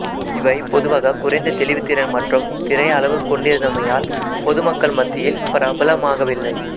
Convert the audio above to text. இவை பொதுவாக குறைந்த தெளிவுத்திறன் மற்றும் திரை அளவு கொண்டிருந்தைமையால் பொதுமக்கள் மத்தியில் பிரபலமாகவில்லை